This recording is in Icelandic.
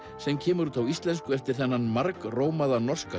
sem kemur út á íslensku eftir þennan margrómaða norska